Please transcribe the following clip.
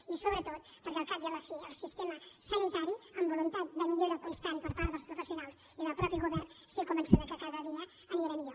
i sobretot perquè al cap i a la fi el sistema sanitari amb voluntat de millora constant per part dels professionals i del mateix govern estic convençuda que cada dia anirà a millor